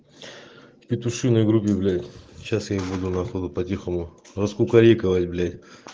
в петушиной группе блять сейчас я их буду нахуй по тихому раскукорекивать блять